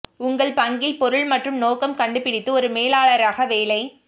உங்கள் பங்கில் பொருள் மற்றும் நோக்கம் கண்டுபிடித்து ஒரு மேலாளராக வேலை